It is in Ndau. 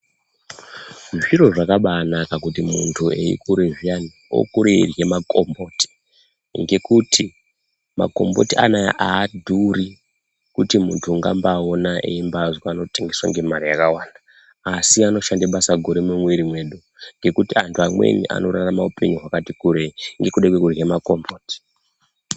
Zviro zvakabaanaka kuti muntu eikura zviyani okure eidyra makomboti. Ngekuti makomboti anaya aadhuri kuti muntu ungambaona eimbazwi panotengeswa ngemare yakawanda. Asi anoshanda basa guru mumumwiri mwedu. Ngekuti antu amweni anorarama upenyu hwakati kurei ngekuda kwekudyra makomboti.